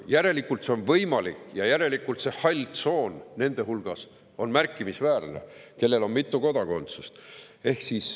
Järelikult on see võimalik ja järelikult on see hall tsoon märkimisväärne nende hulgas, kellel on mitu kodakondsust.